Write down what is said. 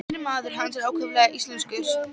Innri maður hans var ákaflega íslenskur.